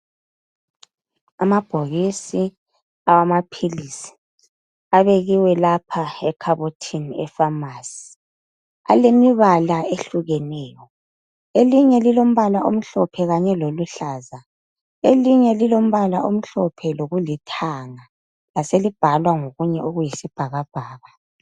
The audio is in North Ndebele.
Amabhokisi awamaphilizi abekiwe lapha ekhabothini efamasi. Alemibala eyehlukeneyo elinye lilombala omhlophe kanye loluhlaza elinye lilombala omhlophe lokulithanga laselibhalwa ngokunye okuyisibhakabhaka.